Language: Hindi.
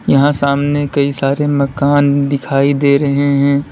यहां सामने कई सारे मकान दिखाई दे रहे हैं।